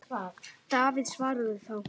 Davíð svaraði þá